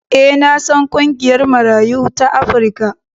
E, na san ƙungiyar Marayu ta Afrika.